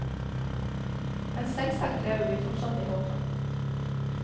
Men selvsagt, lever vi fortsatt i håpet.